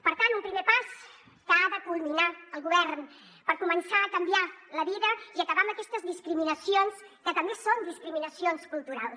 per tant un primer pas que ha de culminar el govern per començar a canviar la vida i acabar amb aquestes discriminacions que també són discriminacions culturals